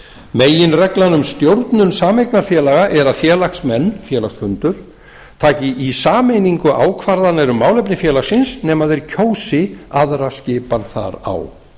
meginreglan um stjórnun sameignarfélaga er að félagsmenn félagsfundur taki í sameiningu ákvarðanir um málefni félagsins nema þeir kjósi aðra skipan þar á